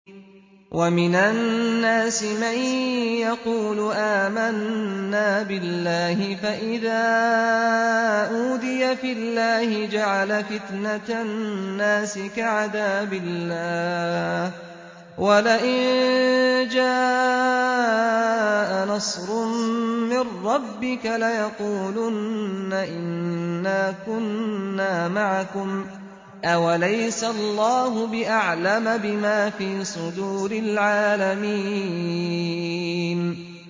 وَمِنَ النَّاسِ مَن يَقُولُ آمَنَّا بِاللَّهِ فَإِذَا أُوذِيَ فِي اللَّهِ جَعَلَ فِتْنَةَ النَّاسِ كَعَذَابِ اللَّهِ وَلَئِن جَاءَ نَصْرٌ مِّن رَّبِّكَ لَيَقُولُنَّ إِنَّا كُنَّا مَعَكُمْ ۚ أَوَلَيْسَ اللَّهُ بِأَعْلَمَ بِمَا فِي صُدُورِ الْعَالَمِينَ